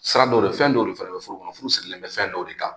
Sira dɔw de fɛn dɔw de fana be furu kɔnɔ, furu sigilen bɛ fɛn dɔw de kan